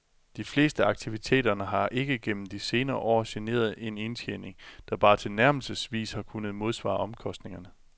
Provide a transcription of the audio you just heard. De fleste af aktiviteterne har ikke gennem de senere år genereret en indtjening, der bare tilnærmelsesvis har kunnet modsvare omkostningerne.